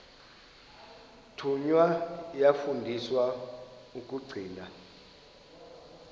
thunywa yafundiswa ukugcina